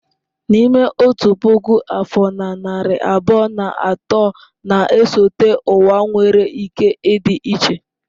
N'ime otu puku afọ na narị abụọ na atọ na-esote ụwa nwere ike ịdị iche.